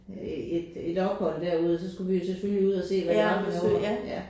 Øh et et ophold derude og så skulle vi jo selvfølgelig ud og se hvad det var derovre ja